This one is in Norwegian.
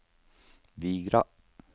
Vigra